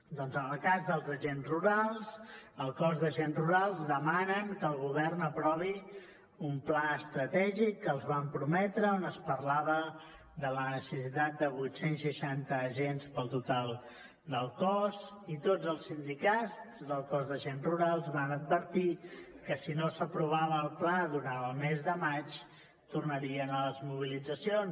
doncs en el cas dels agents rurals el cos d’agents rurals demanen que el govern aprovi un pla estratègic que els van prometre on es parlava de la necessitat de vuit cents i seixanta agents pel total del cos i tots els sindicats del cos d’agents rurals van advertir que si no s’aprovava el pla durant el mes de maig tornarien a les mobilitzacions